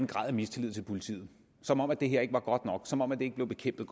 grad af mistillid til politiet som om det her ikke var godt nok som om det ikke blev bekæmpet